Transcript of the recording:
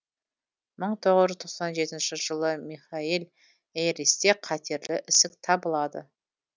мың тоғыз жүз тоқсан жетінші жылы михаель эйристе қатерлі ісік табылады